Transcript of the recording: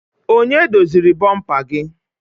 Onye doziri bomper gị?